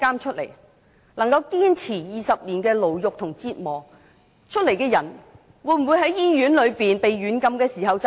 一個能夠堅持20年牢獄和折磨出來的人，會否在醫院被軟禁時自殺？